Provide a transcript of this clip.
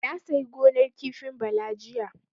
Na sayi gonar kifin Bala jiya.